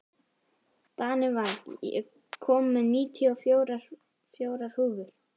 Danival, ég kom með níutíu og fjórar húfur!